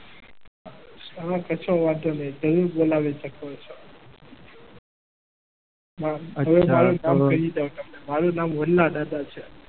હા કશો વાંધો નહીં જરૂર બોલાવી શકો છો. મારું નામ વડલા દાદા છે.